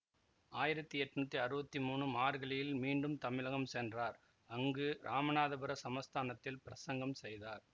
ஆயிரத்தி எட்ணூத்தி அறுவத்தி மூனு மார்கழியில் மீண்டும் தமிழகம் சென்றார் அங்கு இராமநாதபுர சமஸ்தானத்தில் பிரசங்கம் செய்தார்